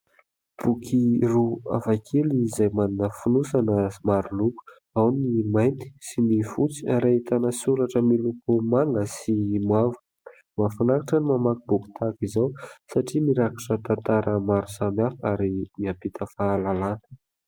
Boky roa hafakely izay manana fonosana maro loko, ao ny mainty sy ny fotsy ary ahitana soratra miloko manga sy mavo. Mahafinaritra ny mamaky boky tahaka izao satria mirakitra tantara maro samihafa ary mampita fahalalàna.